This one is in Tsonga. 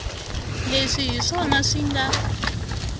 leswi hi swona swi nga